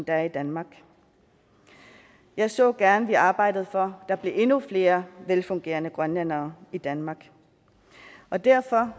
er i danmark jeg så gerne at vi arbejdede for at der blev endnu flere velfungerende grønlændere i danmark og derfor